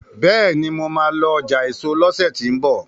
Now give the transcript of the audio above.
béèni mọ má lọ ọjà eso lọsẹ ti n bọ